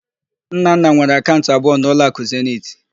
Nnanna nwere akaụnt abụọ na ụlọakụ Zeniti.